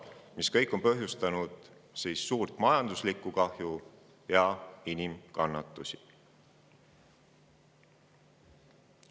Need kõik on põhjustanud suurt majanduslikku kahju ja inimkannatusi.